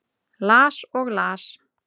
Las og las.